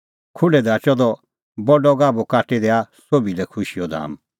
खुढै ढाकअ द बडअ गाभू काटी खैऊआ सोभी लै खुशीए धाम